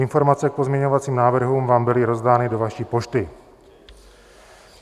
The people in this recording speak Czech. Informace k pozměňovacím návrhům vám byly rozdány do vaší pošty.